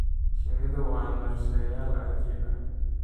Shinnidu waa naqshadeeyayaal cajiib ah.